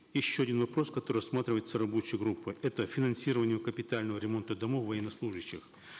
еще один вопрос который рассматривается рабочей группой это финансирование капитального ремонта домов военнослужащих